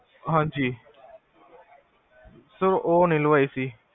ਹਾਂਜੀ ਸਰ ਓਹ ਨੀ ਲਵਾਏ ਅਸੀ